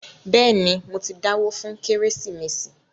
Bẹ́ẹ̀ni, mo ti dáwó fún “ kérésìmesì ”